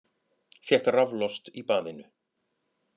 Fékk raflost í baðinu